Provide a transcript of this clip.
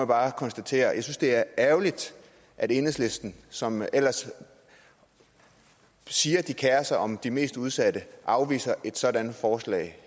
bare konstatere jeg synes det er ærgerligt at enhedslisten som ellers siger de kerer sig om de mest udsatte afviser et sådant forslag